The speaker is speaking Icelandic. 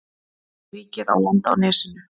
Ríkið á land á nesinu.